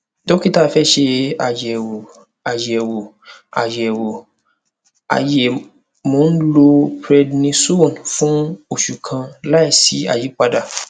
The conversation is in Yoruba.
dókítà fẹ ṣe àyẹwò àyẹwò àyẹwò àyẹ mo ń lo prednisone fún oṣù kan láìsí àyípadà